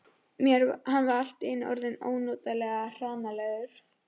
Hann var allt í einu orðinn ónotalega hranalegur.